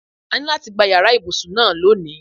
A ní láti gba yàrá ibùsùn náà loni.